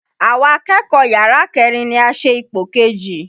Àwa akẹ́kọ̀ọ́ yàrá kẹ́rin ni a ṣe ipò kejì.